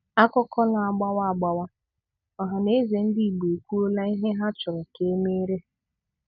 Akụkọ na-agbawa agbawa: Ohaneze Ndị Igbo ekwuola ihe ha chọrọ ka e meere ha.